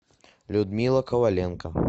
людмила коваленко